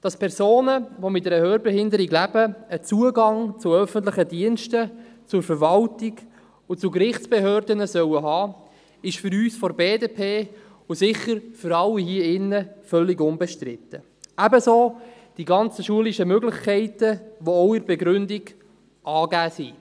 Dass Personen, die mit einer Hörbehinderung leben, Zugang zu öffentlichen Diensten, zur Verwaltung und zu Gerichtsbehörden, haben sollen, ist für uns von der BDP, und sicher für alle hier im Saal, völlig unbestritten, ebenso die ganzen schulischen Möglichkeiten, die in der Begründung auch angegeben sind.